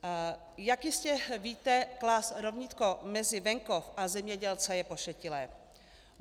Jak jistě víte, klást rovnítko mezi venkov a zemědělce je pošetilé.